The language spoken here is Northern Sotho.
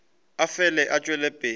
a fele a tšwela pele